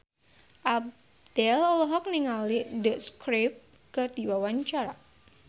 Abdel olohok ningali The Script keur diwawancara